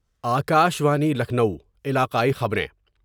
آکاشوانی لکھنؤ علاقائی خبریں